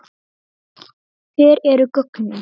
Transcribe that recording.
Hver eru gögnin?